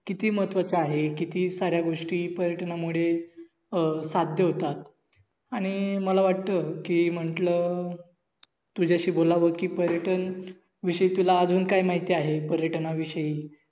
किती महत्वाच आहे, किती साऱ्या गोष्टी पर्यटनामुळे अं साध्य होतात. आणि मला वाटत कि म्हटल, तुझ्याशी बोलावं कि पर्यटनविषयी तुला अजून काय माहित आहे पर्यटनाविषवी